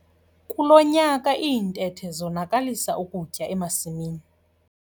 Kulo nyaka iintethe zonakalisa ukutya emasimini.